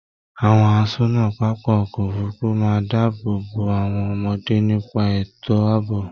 Àwọn àsọ́nà pápá ọkọ òfurùnfu máa n dáàbò bò àwọn ọmọdé nípa ètò àbò.